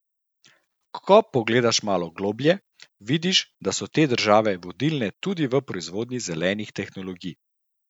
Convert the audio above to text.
Ko pogledaš malo globlje, vidiš, da so te države vodilne tudi v proizvodnji zelenih tehnologij.